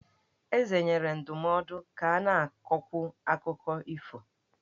Eze nyere ndụmọdụ ka a na-akọkwu akụkọ ifo.